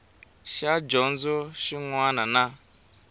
xa dyondzo xin wana na